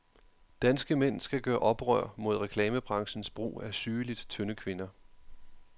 Danske mænd skal gøre oprør mod reklamebranchens brug af sygeligt tynde kvinder.